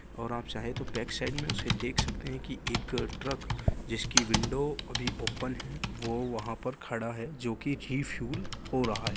ओर आप चाहे तो बैक साइड मे उसे देख सकते है कि एक ट्रक जिसकी विन्डो अभी ओपन है वो वहा पर खड़ा है जो कि रिफुएल हो रहा है ।